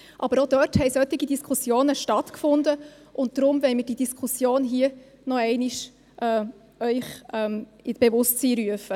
Aber auch dazu fanden solche Diskussionen statt, und deshalb wollen wir Ihnen diese Diskussion hier noch einmal ins Bewusstsein rufen.